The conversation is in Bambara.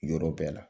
Yɔrɔ bɛɛ la